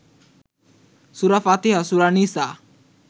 সুরা ফাতিহা, সুরা নিসা